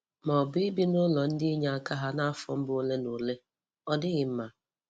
Ma ọ bụ ibi na ụlọ ndị inyeaka ha n’afọ mbụ ole na ole. Ọ dịghị mma.